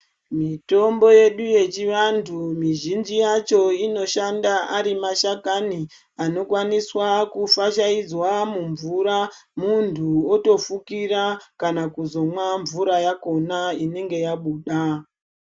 Mitombo yedu yechivantu mizhinji yacho inoshanda ari mashakani anokwaniswa kufashaidzwa mumvura muntu otofukira kana kuzomwa mvura yakona inenge yabuda.